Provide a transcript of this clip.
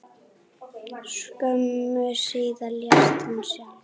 Skömmu síðar lést hún sjálf.